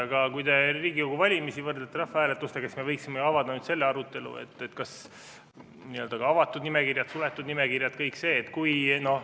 Aga kui te võrdlete Riigikogu valimisi rahvahääletustega, siis me võiksime avada selle arutelu, et avatud nimekirjad, suletud nimekirjad – kõik see.